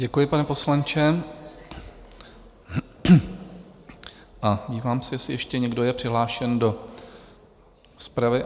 Děkuji, pane poslanče, a dívám se, jestli ještě někdo je přihlášen do rozpravy?